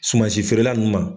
Sumansifeerela ninnu ma.